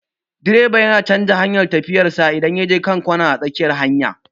Direba yana canja hanyar tafiyan sa idan ya je kan kwana a tsakiyar hanya